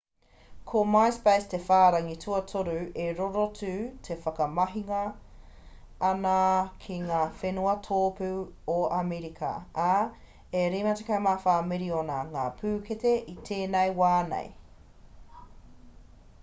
ko myspace te whārangi tuatoru te rorotu e whakamahingia ana ki ngā whenua tōpū o amerika ā e 54 miriona ngā pūkete i tēnei wā nei